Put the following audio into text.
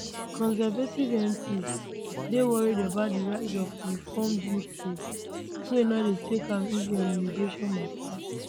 conservative mps dey worry about di rise of reform uk wey no dey take am easy on immigration mata